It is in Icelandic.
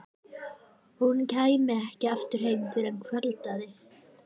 Hún kæmi ekki aftur heim fyrr en kvöldaði.